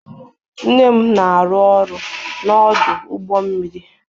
Nne m na-arụ ọrụ n'ọdụ ụgbọ mmiri.